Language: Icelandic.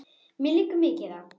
Mér liggur mikið á!